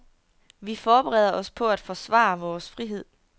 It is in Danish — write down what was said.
Vi forbereder os på at forsvare vores frihed.